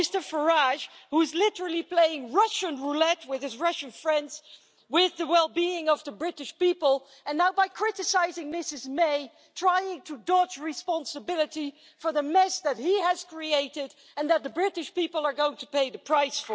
He is literally playing Russian roulette with his Russian friends with the well-being of the British people, and now by criticising Mrs May he is trying to dodge responsibility for the mess that he has created and for which the British people are going to pay the price.